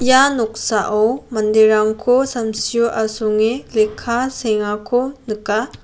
ia noksao manderangko samsiko asonge lekka seengako nika.